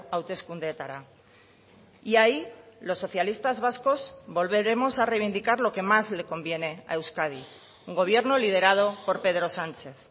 hauteskundeetara y ahí los socialistas vascos volveremos a reivindicar lo que más le conviene a euskadi un gobierno liderado por pedro sánchez